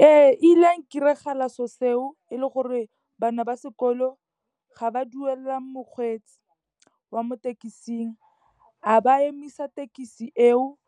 Ee, e ile ya nkiragalela se'o seo, e le gore bana ba sekolo ga ba duelela mokgweetsi wa mo thekesing. A ba emisa thekisi eo,